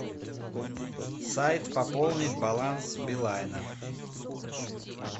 сайт пополнить баланс билайна